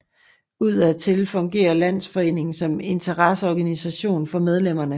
Udadtil fungerer landsforeningen som interesseorganisation for medlemmerne